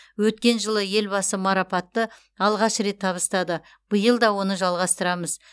өткен жылы елбасы марапатты алғаш рет табыстады биыл да оны жалғастырамыз